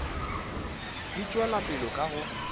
di tšwela pele ka go